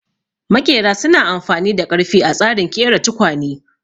Maƙera su na amfani da ƙarfe a tsarin ƙera tukwane